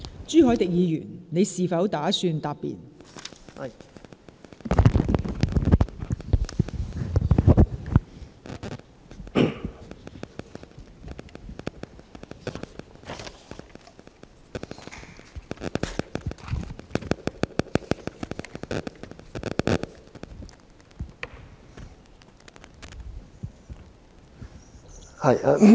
朱凱廸議員，你是否打算答辯？